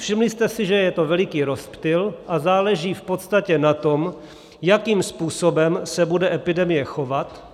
Všimli jste si, že je to veliký rozptyl, a záleží v podstatě na tom, jakým způsobem se bude epidemie chovat.